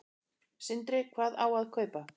Sindri: Hvað á að kaupa?